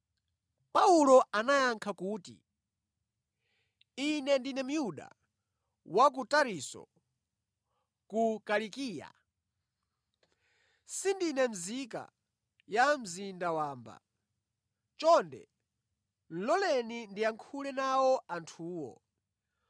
Paulo anayankha kuti, “Ine ndine Myuda, wa ku Tarisisi ku Kilikiya. Sindine nzika ya mzinda wamba. Chonde loleni ndiyankhule nawo anthuwa.”